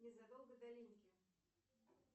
незадолго до линьки